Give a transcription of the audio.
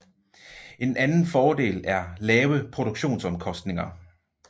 En anden fordel er lave produktionsomkostninger